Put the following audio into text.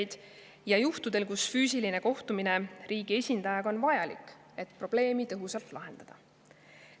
Eriti on seda vaja juhtudel, kus füüsiline kohtumine riigi esindajaga on vajalik, et probleemi tõhusalt lahendada.